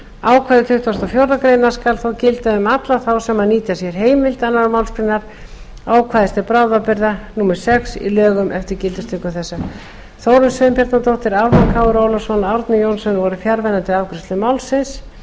ákvæði tuttugasta og fjórðu grein skal þó gilda um alla þá sem nýta sér heimild annarri málsgrein ákvæðis til bráðabirgða númer sex í lögunum eftir gildistöku laga þessara þórunn sveinbjarnardóttir ármann krónu ólafsson og árni johnsen voru fjarverandi við afgreiðslu málsins